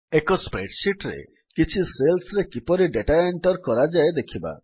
ଏକ spreadsheetର କିଛି cellsରେ କିପରି ଡେଟା ଏଣ୍ଟର୍ କରାଯାଏ ଦେଖିବା